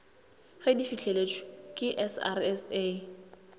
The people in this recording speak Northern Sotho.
ge di fihleletšwe ke srsa